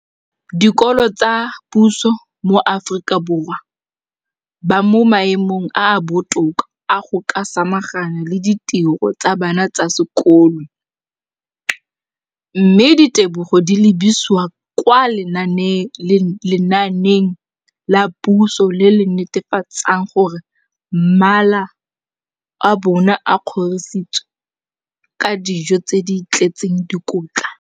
dikolo tsa puso mo Aforika Borwa ba mo maemong a a botoka a go ka samagana le ditiro tsa bona tsa sekolo, mme ditebogo di lebisiwa kwa lenaaneng la puso le le netefatsang gore mala a bona a kgorisitswe ka dijo tse di tletseng dikotla.